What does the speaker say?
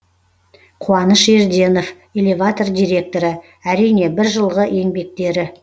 қуаныш ерденов элеватор директоры әрине бір жылғы еңбектері